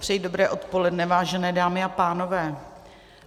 Přeji dobré odpoledne, vážené dámy a pánové.